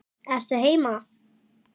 Ertu heima?